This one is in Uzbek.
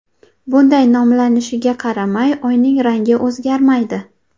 Bunday nomlanishiga qaramay, Oyning rangi o‘zgarmaydi.